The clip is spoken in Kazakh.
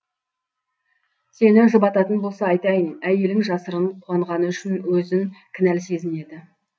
сені жұбататын болса айтайын әйелің жасырын қуанғаны үшін өзін кінәлі сезінеді